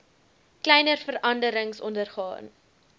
kleiner veranderings ondergaan